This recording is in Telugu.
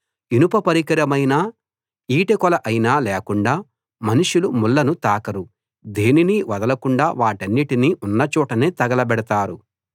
ఇనుప పరికరమైనా ఈటె కోల అయినా లేకుండా మనుషులు ముళ్ళను తాకరు దేనినీ వదలకుండా వాటన్నిటినీ ఉన్న చోటనే తగలబెడతారు